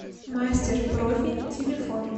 мастер профи телефон